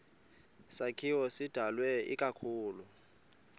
sakhiwo sidalwe ikakhulu